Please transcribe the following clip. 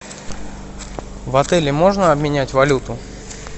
в отеле можно обменять валюту